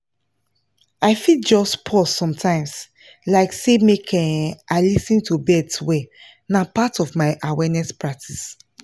i fit just pause sometimes like say make um i lis ten to birds well na part of my awareness practice